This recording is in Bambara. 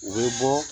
U bɛ bɔ